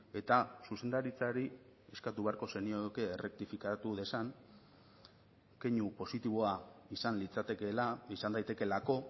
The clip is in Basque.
eta zuzendaritzari eskatu beharko zenioke errektifikatu dezan keinu positiboa izan litzatekeela izan daitekeelako